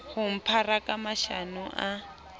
ho mphara ka mashano a